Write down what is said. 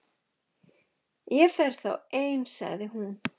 Ég fer þá ein sagði hún.